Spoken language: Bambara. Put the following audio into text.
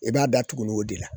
I b'a da tuguni o de la